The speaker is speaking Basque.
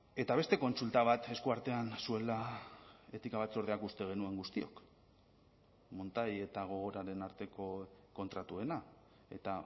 eta beste kontsulta bat esku artean zuela etika batzordeak uste genuen guztiok montai eta gogoraren arteko kontratuena eta